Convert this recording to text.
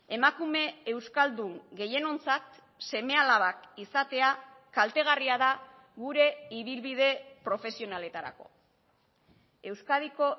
emakume euskaldun gehienontzat seme alabak izatea kaltegarria da gure ibilbide profesionaletarako euskadiko